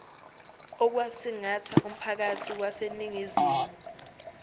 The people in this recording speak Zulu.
okwasingatha umphakathi waseningizimu